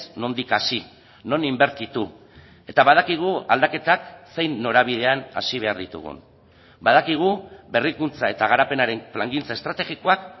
nondik hasi non inbertitu eta badakigu aldaketak zein norabidean hasi behar ditugun badakigu berrikuntza eta garapenaren plangintza estrategikoak